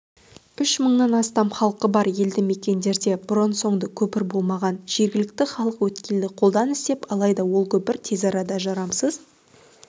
үш мыңнан астам халқы бар елді мекендерде бұрын-соңды көпір болмаған жергілікті халық өткелді қолдан істеп алайда ол көпір тез арада жарамсыз